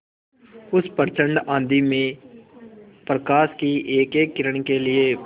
उस प्रचंड आँधी में प्रकाश की एकएक किरण के लिए